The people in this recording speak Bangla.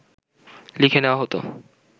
লিখে নেওয়া হত